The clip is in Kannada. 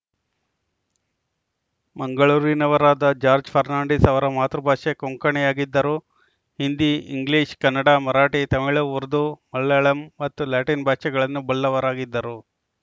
ಮಂಗಳೂರಿನವರಾದ ಜಾಜ್‌ರ್‍ ಫರ್ನಾಂಡೀಸ್‌ ಅವರ ಮಾತೃ ಭಾಷೆ ಕೊಂಕಣಿಯಾಗಿದ್ದರೂ ಹಿಂದಿ ಇಂಗ್ಲಿಷ್‌ ಕನ್ನಡ ಮರಾಠಿ ತಮಿಳು ಉರ್ದು ಮಲಯಾಳಂ ಮತ್ತು ಲ್ಯಾಟಿನ್‌ ಭಾಷೆಗಳನ್ನು ಬಲ್ಲವರಾಗಿದ್ದರು